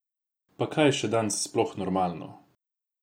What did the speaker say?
Pa kaj je še danes sploh normalno?